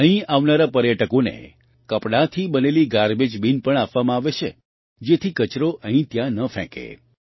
અહીં આવનારા પર્યટકોને કપડાંથી બનેલી ગાર્બેજ બિન પણ આપવામાં આવે છે જેથી કચરો અહીંત્યાં ન ફેંકે